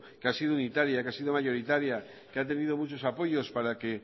que ha sido unitaria que ha sido mayoritaria que ha tenido muchos apoyos para que